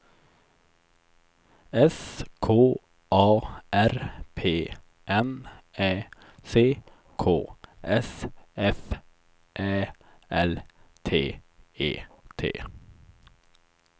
S K A R P N Ä C K S F Ä L T E T